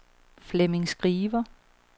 Flemming Skriver